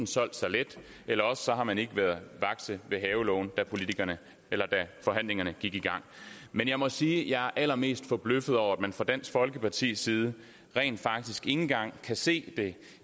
solgt sig let eller også har man ikke været vakse ved havelågen da forhandlingerne gik i gang men jeg må sige at jeg er allermest forbløffet over at man fra dansk folkepartis side rent faktisk ikke engang kan se